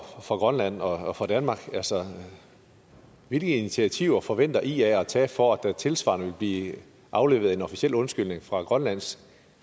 for grønland og og danmark hvilke initiativer forventer ia at tage for at der tilsvarende vil blive afleveret en officiel undskyldning fra grønlands